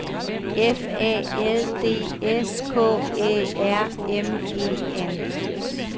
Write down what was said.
F A L D S K Æ R M E N